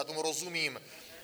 Já tomu rozumím.